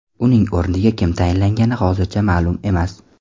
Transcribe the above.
Uning o‘rniga kim tayinlangani hozircha ma’lum emas.